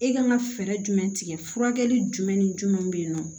E kan ka fɛɛrɛ jumɛn tigɛ furakɛli jumɛn ni jumɛn be yen nɔ